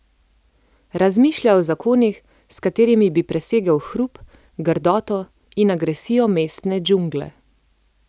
Razmišlja o zakonih, s katerimi bi presegel hrup, grdoto in agresijo mestne džungle.